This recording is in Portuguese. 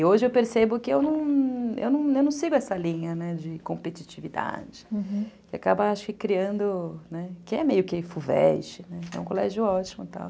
E hoje eu percebo que eu não eu não sigo essa linha, né, de competitividade, uhum, que acaba criando, que é meio que Fuveste, é um colégio ótimo.